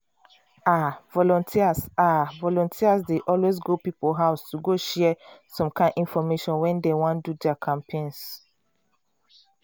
ah! volunteers ah! volunteers dey always go people house to go share some kind infomation when dey wan do their campaigns.